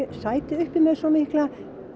sæti uppi með svo mikla